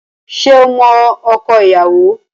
Ṣé o mọ ọkọ ìyàwó?